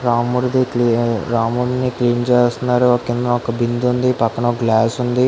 రాముడిని రాముని క్లీన్ చేస్తున్నారు కిందన ఒక బిందె వుంది పక్కన ఒక గ్లాస్ ఉంది.